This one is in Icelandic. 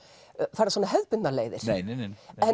fara hefðbundnar leiðir nei nei nei